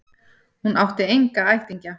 Hún átti enga ættingja.